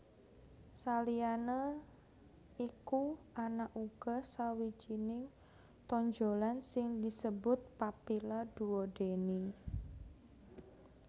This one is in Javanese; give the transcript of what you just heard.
Saliyané iku ana uga sawijining tonjolan sing disebut papilla duodeni